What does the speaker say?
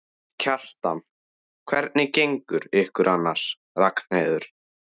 Kjartan: Hvernig gengur ykkur annars, Ragnheiður?